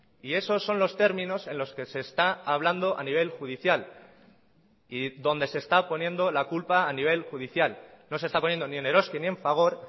y esos son los términos en los que se está hablando a nivel judicial y donde se está poniendo la culpa a nivel judicial no se está poniendo ni en eroski ni en fagor